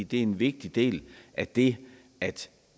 det er en vigtig del af det at